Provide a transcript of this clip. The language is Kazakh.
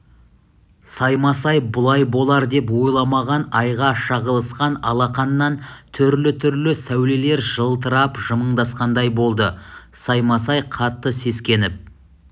саймасай бұлай болар деп ойламаған айға шағылысқан алақаннан түрлі-түрлі сәулелер жылтырап жымыңдасқандай болды саймасай қатты сескеніп